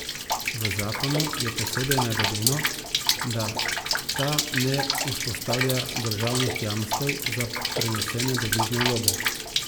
V zakonu je posebej navedeno, da ta ne vzpostavlja državnih jamstev za prenesene devizne vloge.